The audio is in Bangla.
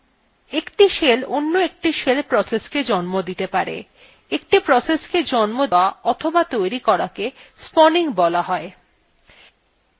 একটি shell অন্য একটি shell processকেও জন্ম দিতে পারে একটি process জন্ম দেওয়া অথবা তৈরি করাকে spawning বলা হয়